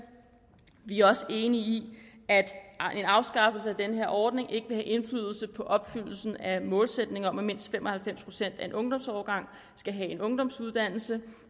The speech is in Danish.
vi er også enige i at en afskaffelse af den her ordning ikke vil have indflydelse på opfyldelsen af målsætningen om at mindst fem og halvfems procent af en ungdomsårgang skal have en ungdomsuddannelse